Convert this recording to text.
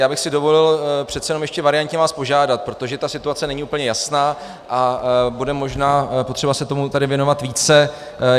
Já bych si dovolil přece jenom ještě variantně vás požádat, protože ta situace není úplně jasná a bude možná potřeba se tomu tady věnovat více.